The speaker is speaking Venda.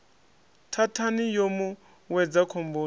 thathani yo mu wedza khomboni